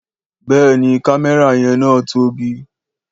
Béèni kámẹ́rà yen na tóbi